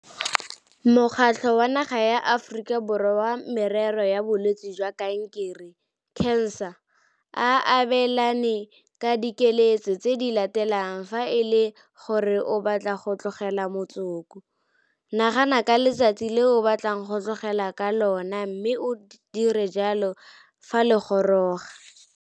Mokgatlho wa Naga ya Aforika Borwa wa Merero ya Bolwetse jwa Kankere, CANSA, o abelana ka dikeletso tse di latelang fa e le gore o batla go tlogela motsoko. Nagana ka letsatsi le o batlang go tlogela ka lona mme o dire jalo fa le goroga.